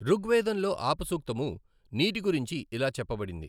ఋగ్వేదంలో ఆపసూక్తము నీటి గురించి ఇలా చెప్పబడింది